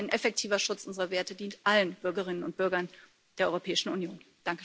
Denn ein effektiver Schutz unserer Werte dient allen Bürgerinnen und Bürgern der Europäischen Union.